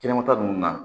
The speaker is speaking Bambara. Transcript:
Kɛnɛmata ninnu na